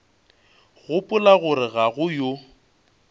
gopola gore ga go yo